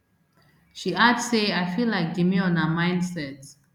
she add say i feel like demure na mindset